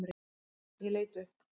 Ég leit upp.